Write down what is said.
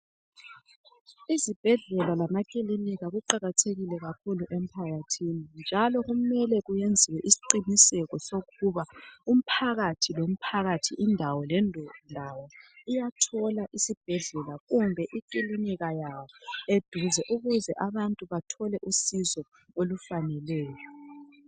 Izibhedlela lamaklinika kuqakathekile kakhulu emphakathini njalo kumele kuyenziwe isqiniseko sokuba umphakathi lo mphakathi indawo lendawo iyathola isibhedlela kumbe iklinika yaso eduze ukuze abantu bathole usizo olufaneleyo